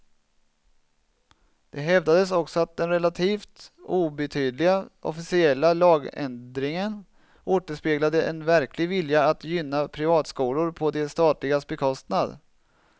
Det hävdades också att den relativt obetydliga officiella lagändringen återspeglade en verklig vilja att gynna privatskolor på de statligas bekostnad.